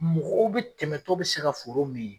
Mɔgɔw bɛ tɛmɛ tɔ bɛ se ka foro min